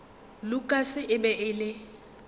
lukas e be e le